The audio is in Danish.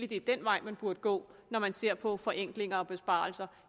det er den vej man burde gå når man ser på forenklinger og besparelser